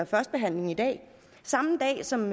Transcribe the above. første behandling i dag samme dag som